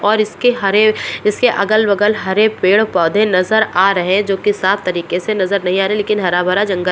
और इसके हरे इसके अगल-बगल हरे-पेड़ पौधे नजर आ रहें है जो की साफ तरीके से नजर नहीं आ रहें लेकिन हरा भरा जंगल--